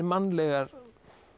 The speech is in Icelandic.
mannlegar